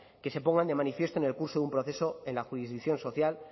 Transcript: que se pongan de manifiesto en el curso de un proceso en la jurisdicción social